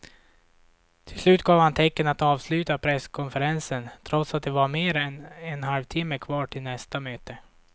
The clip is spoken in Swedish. Till slut gav han tecken att avsluta presskonferensen trots att det var mer än en halvtimme kvar till nästa möte.